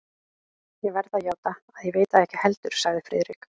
Ég verð að játa, að ég veit það ekki heldur sagði Friðrik.